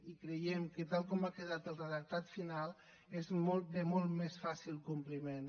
i creiem que tal com ha quedat el redactat final és de molt més fàcil compliment